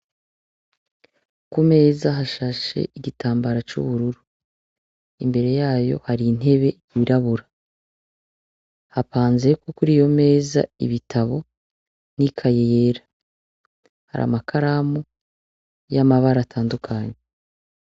Kuka meza hashashe igitambara c'ubururu imbere yayo hari intebe yirabura hapanzeko kuri iyo meza ibitabo n'ikaye yera hari amakaramu y'amabara atandukanya.